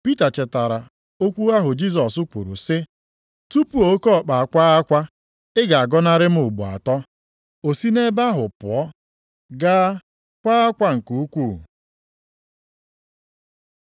Pita chetara okwu ahụ Jisọs kwuru sị, “Tupu oke ọkpa akwaa akwa, ị ga-agọnarị m ugbo atọ.” O si nʼebe ahụ pụọ, gaa kwaa akwa nke ukwuu.